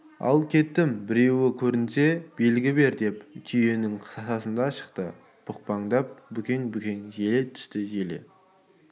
ал кеттім біреу көрінсе белгі бер деп түйенің тасасынан шықты бұқпақтап бүкең-бүкең желе түсті желе